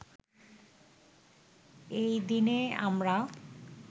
এই দিনে আমরা